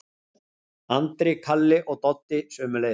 Andri, Kalli og Doddi sömuleiðis.